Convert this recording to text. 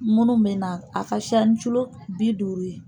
Munnu bɛ na a ka siya ni bi duuru ye.